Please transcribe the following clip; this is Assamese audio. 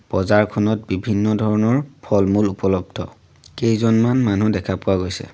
বজাৰখনত বিভিন্ন ধৰণৰ ফল-মূল উপলব্ধ কেইজনমান মানুহ দেখা পোৱা গৈছে।